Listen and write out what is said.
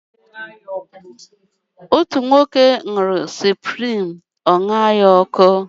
Otú nwoke ṅuru septrin ọ ghaa ya ọkọ